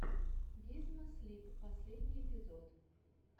гизмо слип последний эпизод